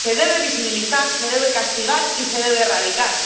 Se debe visibilizar, se debe castigar y se debe erradicar.